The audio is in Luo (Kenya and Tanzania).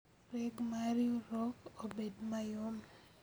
Reg ma riurwok obed mayom